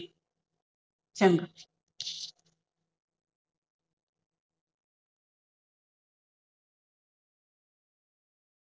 ਚੰਗਾ